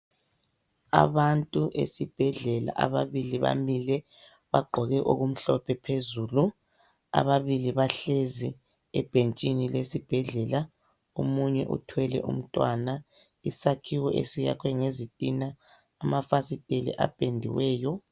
Abantu esibhedlela, ababili bamile bagqoke okumhlophe phezulu . Ababili bahlezi ebhentshini lesibhedlela, omunye uthwele umntwana. Isakhiwo esiyakhwe ngezitina, amafasiteli apendiweyo.